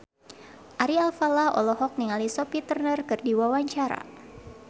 Ari Alfalah olohok ningali Sophie Turner keur diwawancara